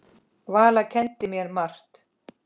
Valla kenndi mér margt.